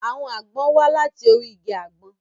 Àwọn àgbọn wá láti orí igi àgbọn.